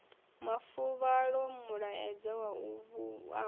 mafuvhalo mulaedza wa u amba